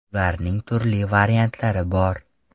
Ularning turli variantlari bor.